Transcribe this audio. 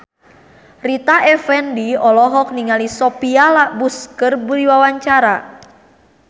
Rita Effendy olohok ningali Sophia Bush keur diwawancara